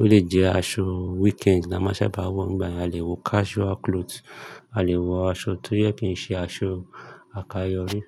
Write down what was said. ó lè jẹ́ aṣọ weekend la máa sábà wọ̀ nígbà náà. A lè wọ casual clothes, a lè wọ aṣọ tó yẹ́ kí i ṣe aṣọ àkayọrí.